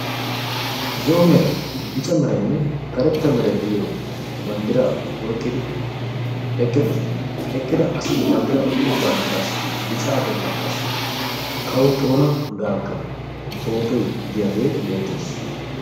Zo'o meray, bicca meraynne karetta meray de'iyo banddira oyqqidi eqqidosona. Ha eqqida asati banddira oyqqido banddirassi qassi bicca bollan qassi Kawo xoona gaaga pootoy giyaage beettees.